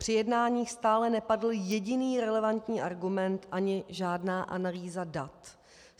Při jednáních stále nepadl jediný relevantní argument ani žádná analýza dat.